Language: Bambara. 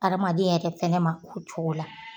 Adamaden yɛrɛ fɛnɛ ma o cogo la